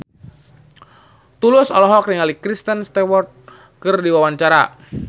Tulus olohok ningali Kristen Stewart keur diwawancara